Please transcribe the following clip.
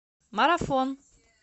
марафон